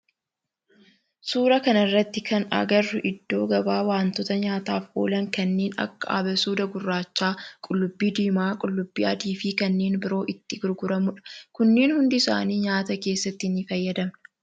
Suuraa kana irratti kan agarru iddoo gabaa wantoota nyaataf oolan kanneen akka abasuuda gurraacha, qullubbii diimaa, qullubbii adii fi kanneen biroo itti gurguramudha . Kunneen hunda isaanii nyaata keessatti ni fayyadamna.